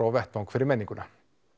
á vettvangi fyrir menninguna